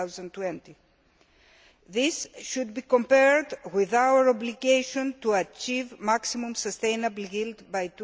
2020. This should be compared with our obligation to achieve maximum sustainable yield by